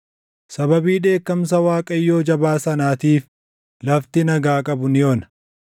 Sababii dheekkamsa Waaqayyoo jabaa sanaatiif, lafti nagaa qabu ni ona.